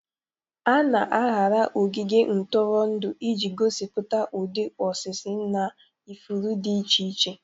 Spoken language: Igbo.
A na-arara ogige ntụrụndụ iji gosipụta ụdị osisi na ifuru dị iche iche.